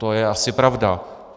To je asi pravda.